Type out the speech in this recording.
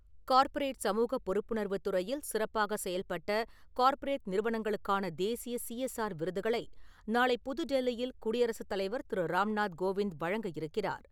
Corporate சமூக பொறுப்புணர்வு துறையில் சிறப்பாக செயல்பட்ட கார்ப்பரேட் நிறுவனங்களுக்கான தேசிய சிஎஸ்ஆர் விருதுகளை நாளை புதுடெல்லியில் குடியரசு தலைவர் திரு. ராம்நாத் கோவிந்த் வழங்க இருக்கிறார்.